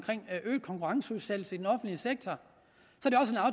øget konkurrenceudsættelse i den offentlige sektor